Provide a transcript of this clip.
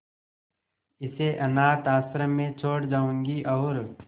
इसे अनाथ आश्रम में छोड़ जाऊंगी और